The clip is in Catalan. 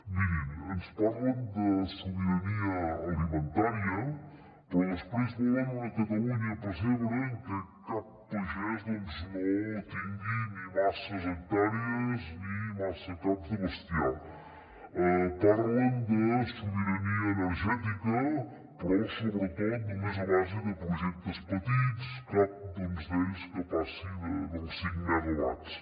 mirin ens parlen de sobirania alimentària però després volen una catalunya pessebre en què cap pagès doncs no tingui ni masses hectàrees ni massa caps de bestiar parlen de sobirania energètica però sobretot només a base de projectes petits cap d’ells que passi dels cinc megawatts